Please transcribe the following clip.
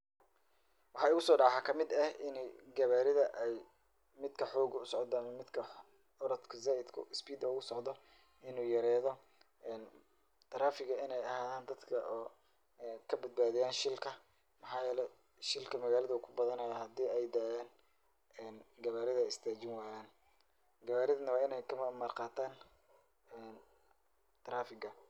Waxaa igu soo dhacday waxaa ka mid eh in ay qawaarida ay midka xooga u socdo ama midka orodka zaaidku speed u socdo in uu yereedo. traffic in ay a haadan dadka oo ka bedbaadiyan shilka. Maxaa yeelay, shilka magaalad wuu ku badanayaa hadii ay daayaan ee gawaarida istaajin waayaan. Gawaaridna waa in ay ka amar qaataan trafiga.